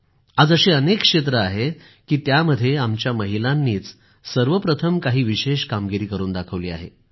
आज अशी अनेक क्षेत्रं आहेत की त्यामध्ये आमच्या महिलांनीच सर्वप्रथम काही विशेष कामगिरी करून दाखवली आहे